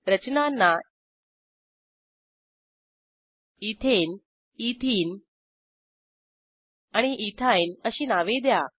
रचनांना ethane ethene आणि ethyne अशी नावे द्या